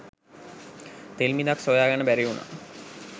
තෙල් බිඳක් සොයා ගන්න බැරි වුණා.